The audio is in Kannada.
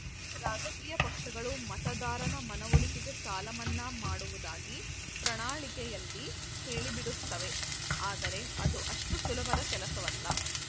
ರಾಜಕೀಯ ಪಕ್ಷಗಳು ಮತದಾರನ ಮನವೊಲಿಕೆಗೆ ಸಾಲ ಮನ್ನಾ ಮಾಡುವುದಾಗಿ ಪ್ರಣಾಳಿಕೆಯಲ್ಲಿ ಹೇಳಿಬಿಡುತ್ತವೆ ಆದರೆ ಅದು ಅಷ್ಟುಸುಲಭದ ಕೆಲಸವಲ್ಲ